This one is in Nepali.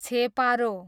छेपारो